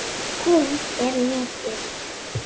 Hún er lítil.